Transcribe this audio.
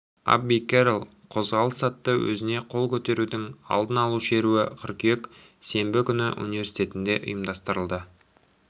абби керрол қозғалысыатты өзіне қол көтерудің алдын алу шеруі қыркүйек сенбі күні университетінде ұйымдастырылды